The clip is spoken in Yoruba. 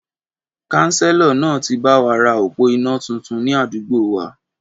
Kánsélọ̀ náà ti báwa ra òpó iná tuntun ni àdúgbò wa